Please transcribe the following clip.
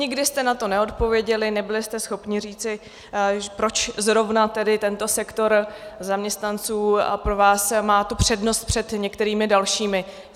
Nikdy jste na to neodpověděli, nebyli jste schopni říci, proč zrovna tedy tento sektor zaměstnanců pro vás má tu přednost před některými dalšími.